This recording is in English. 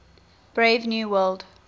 brave new world